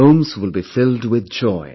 Homes will be filled with joy